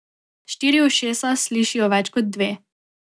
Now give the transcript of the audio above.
Štiri ušesa slišijo več kot dve.